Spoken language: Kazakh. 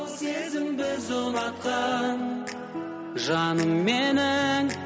біз ұнатқан жаным менің